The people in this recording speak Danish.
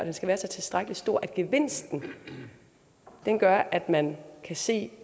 at den er tilstrækkelig stor til at gevinsten gør at man kan se